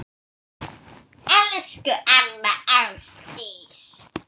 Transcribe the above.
Elsku amma Ásdís.